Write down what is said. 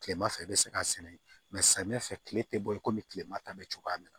Kilema fɛ i be se k'a sɛnɛ samiyɛ fɛ kile te bɔ ye komi kilema ta bɛ cogoya min na